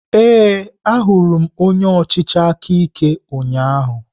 Ee, ahụrụ m onye ọchịchị aka ike ụnyahụ.